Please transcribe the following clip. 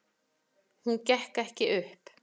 Hún gekk ekki upp.